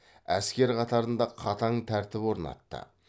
әскер қатарында қатаң тәртіп орнатты